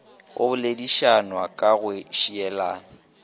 go boledišanwa ka go šielana